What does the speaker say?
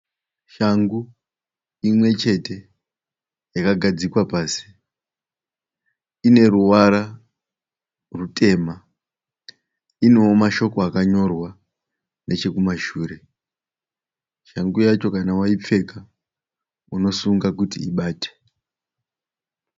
Shangu imwe chete yakagadzikwa pasi. Ine ruvara rutema. Inewo mashoko akanyorwa nechekumashure. Shangu yacho kana waipfeka unosunga kuti ibate.